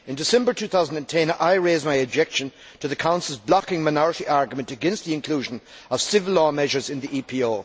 In December 2010 I raised my objection to the Council's blocking minority argument against the inclusion of civil law measures in the EPO.